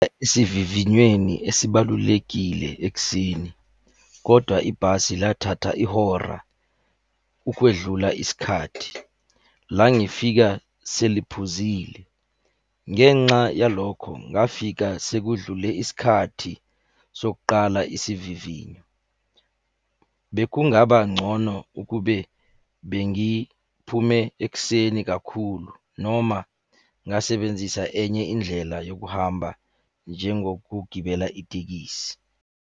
Isivivinyweni esibalulekile ekuseni, kodwa ibhasi lathatha ihora ukwedlula isikhathi, la ngifika seliphuzile. Ngenxa yalokho ngafika sekudlule iskhathi sokuqala isivivinyo. Bekungaba ngcono ukube bengiphume ekuseni kakhulu noma ngasebenzisa enye indlela yokuhamba njengokugibela itekisi.